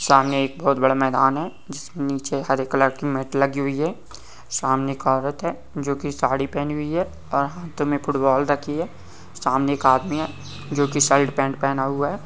सामने एक बहुत बड़ा मैदान है जिसमें नीचे हरे कलर की मेट लगी हुई है सामने एक औरत जो की साड़ी पहनी हुई है और हाथों में फुटबॉल रखी है सामने एक आदमी है जो की शर्ट पैंट पहना हुआ है।